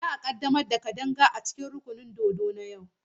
Za a ƙaddamar da Kadanga a cikin rukunin dodo a daren yau.